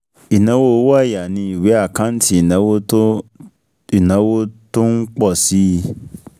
Ìnáwó owó ọ̀yà ni ìwé àkáǹtì ìnáwó tó ìnáwó tó ń pọ̀ si